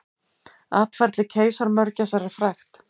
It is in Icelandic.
Atferli keisaramörgæsar er frægt.